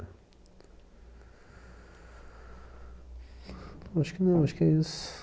Acho que não, acho que é isso.